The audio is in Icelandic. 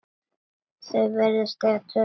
Þau virðast eiga tvö börn.